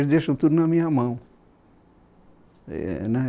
Eles deixam tudo na minha mão. Eh né